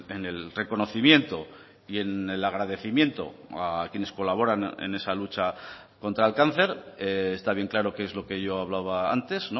en el reconocimiento y en el agradecimiento a quienes colaboran en esa lucha contra el cáncer está bien claro que es lo que yo hablaba antes